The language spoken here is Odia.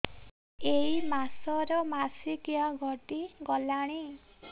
ଏଇ ମାସ ର ମାସିକିଆ ଗଡି ଗଲାଣି